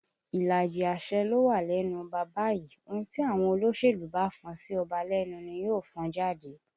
Ìlàjì àṣẹ ló wà lẹ́nu ọba báyìí, ohùn tí àwọn olóṣèlú bá fọn sí ọba lẹ́nu ni yóò fọn jáde